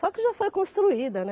Só que já foi construída, né?